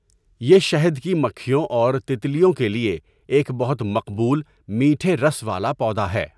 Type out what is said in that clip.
یہ شھد كى مكھېوں اور تیتلیوں کے لیے ایک بہت مقبول مېٹھے رس والا پودا ہے.